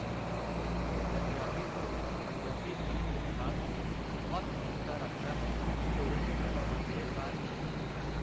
ਪੰਜਾਬੀ ਢੋਲ ਪੰਜਾਬੀ ਗੀਤ ਇਤਿਹਾਸ ਵਿੱਚ ਬਹੁਤ ਮਹੱਤਤਾ ਰੱਖਦਾ ਹੈ ਢੋਲ 'ਤੇ ਡਗਾ ਵੱਜਦੇ ਸਾਰ ਹੀ